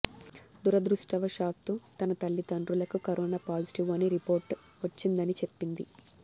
దురదృష్టవశాత్తు తన తల్లిదండ్రులకు కరోనా పాజిటివ్ అని రిపోర్ట్ వచ్చిందని చెప్పింది